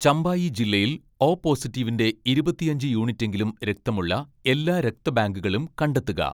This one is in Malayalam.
ചമ്പായി ജില്ലയിൽ ഓ പോസിറ്റീവിൻ്റെ ഇരുപത്തിയഞ്ച് യൂണിറ്റെങ്കിലും രക്തമുള്ള എല്ലാ രക്തബാങ്കുകളും കണ്ടെത്തുക